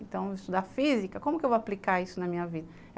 Então, estudar física, como que eu vou aplicar isso na minha vida?